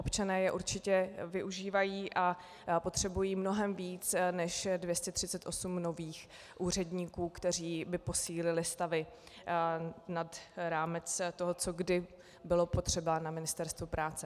Občané je určitě využívají a potřebují mnohem víc než 238 nových úředníků, kteří by posílili stavy nad rámec toho, co kdy bylo potřeba na Ministerstvu práce.